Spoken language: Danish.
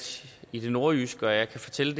i det nordjyske og jeg kan fortælle